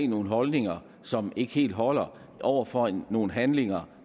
nogle holdninger som ikke helt holder over for nogle handlinger